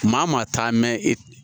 Maa maa taa mɛ